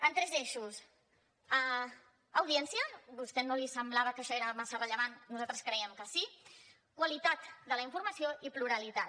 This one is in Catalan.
en tres eixos audiència a vostè no li semblava que això fos massa rellevant nosaltres creiem que sí qualitat de la informació i pluralitat